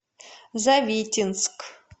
завитинск